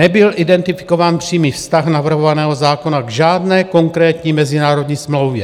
Nebyl identifikován přímý vztah navrhovaného zákona k žádné konkrétní mezinárodní smlouvě.